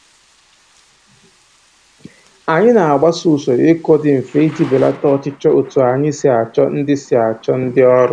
Anyị na-agbaso usoro ịkụ dị mfe iji belata ọchịchọ otu anyị si achọ ndị si achọ ndị ọrụ